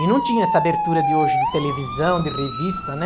E não tinha essa abertura de hoje de televisão, de revista, né?